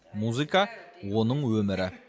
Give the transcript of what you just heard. музыка оның өмірі